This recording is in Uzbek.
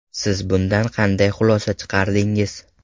Siz bundan qanday xulosa chiqardingiz?